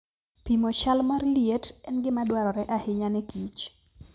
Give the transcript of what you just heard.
Pimo chal mar liet en gima dwarore ahinya ne kich.